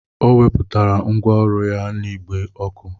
Ọ wepụtara ngwá ọrụ ya n'igbe ọkụ